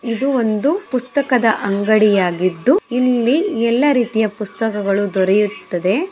ಇದೊಂದು ಪುಸ್ತಕದ ಅಂಗಡಿಯಾಗಿದ್ದು ಇಲ್ಲಿ ಎಲ್ಲಾ ರೀತಿಯ ಪುಸ್ತಕಗಳು ದೊರೆಯುತ್ತದೆ.